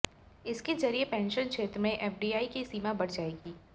इसके जरिये पेंशन क्षेत्र में एफडीआई की सीमा बढ़ाई जाएगी